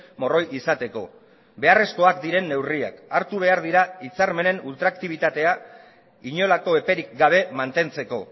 morroi izateko beharrezkoak diren neurriak hartu behar dira hitzarmenen ultraktibitatea inolako eperik gabe mantentzeko